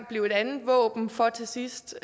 blive et andet våben for til sidst